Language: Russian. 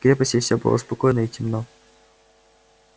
в крепости всё было спокойно и темно